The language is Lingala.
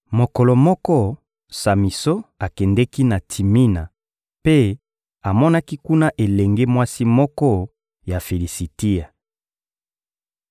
Mokolo moko, Samison akendeki na Timina mpe amonaki kuna elenge mwasi moko ya Filisitia.